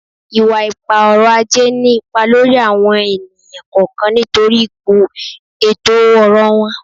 Iwa-ipa-ọrọ-aje ni ipa lori awọn eniyan kọọkan nitori ipo eto-ọrọ wọn